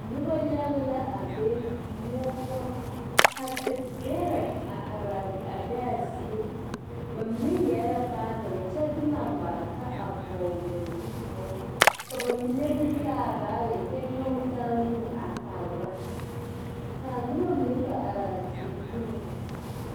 Noba yaga la a be muo poʊ. Ka te bɛre a are a be a zie. Ba mene yɛreɛ baagere kyɛ de lambareka a vogle ba zu poʊ. Ka ba mene meŋ taa baage kyɛ nyoge taa nu a tagra. Kaa noba mene kpe are a teɛ puliŋ